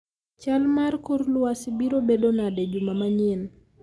chal mar kor lwasi biro bedo nade juma manyien